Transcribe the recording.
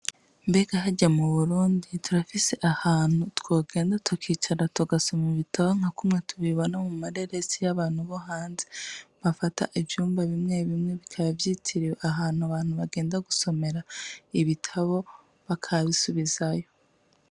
mbega harya mu Burundi turafise ahantu twogenda tukicara tugasoma ibitabo nka kumwe tubibona mu mareresi y'abantu bo hanze bafata ivyumba bimwe bimwe bikaba vyitiriwe ahantu abantu bagenda gusomera ibitabo, bakabisubizayo ?